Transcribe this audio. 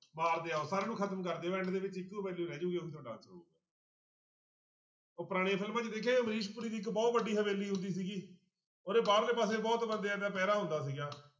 ਮਾਰਦੇ ਜਾਓ ਸਾਰਿਆਂ ਨੂੰ ਖ਼ਤਮ ਕਰਦਿਓ end ਦੇ ਵਿੱਚ ਇੱਕੋ value ਰਹਿ ਜਾਊਗੀ ਉਹੀ ਤੁਹਾਡਾ answer ਹੋਊਗਾ ਉਹ ਪੁਰਾਣੀਆਂ ਫਿਲਮਾਂ 'ਚ ਦੇਖਿਆ ਅਮਰੀਸ਼ ਪੁਰੀ ਦੀ ਇੱਕ ਬਹੁਤ ਵੱਡੀ ਹਵੇਲੀ ਹੁੰਦੀ ਸੀਗੀ ਉਹਦੇ ਬਾਹਰਲੇ ਪਾਸੇ ਬਹੁਤ ਬੰਦਿਆਂ ਦਾ ਪਹਿਰਾ ਹੁੰਦਾ ਸੀਗਾ।